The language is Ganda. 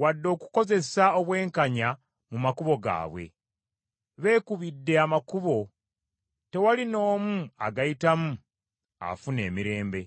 wadde okukozesa obwenkanya mu makubo gaabwe. Beekubidde amakubo, tewali n’omu agayitamu afuna emirembe.